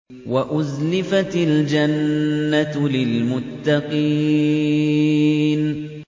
وَأُزْلِفَتِ الْجَنَّةُ لِلْمُتَّقِينَ